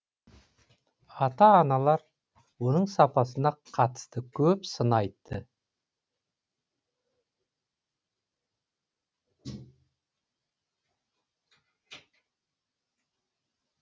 ата аналар оның сапасына қатысты көп сын айтты